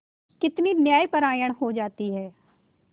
कितनी न्यायपरायण हो जाती है